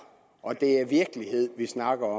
og det er virkelighed vi snakker